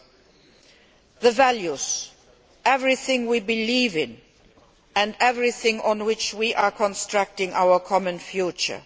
and the values everything we believe in and everything on which we are constructing our common future.